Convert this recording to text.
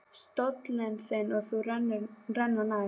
Stóllinn þinn og þú renna nær.